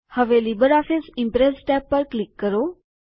હવે LibreOffice Impress tab પર click કરો